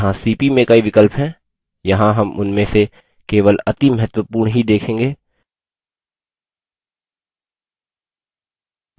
यहाँ cp में कई विकल्प हैं यहाँ हम उनमें से केवल अति महत्वपूर्ण ही देखेंगे